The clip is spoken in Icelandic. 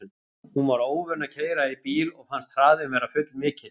Hún var óvön að keyra í bíl og fannst hraðinn vera full mikill.